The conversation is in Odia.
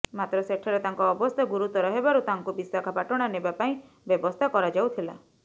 ମାତ୍ର ସେଠାରେ ତାଙ୍କ ଅବସ୍ଥା ଗୁରୁତର ହେବାରୁ ତାଙ୍କୁ ବିଶାଖାପାଟଣା ନେବା ପାଇଁ ବ୍ୟବସ୍ଥା କରାଯାଉଥିଲା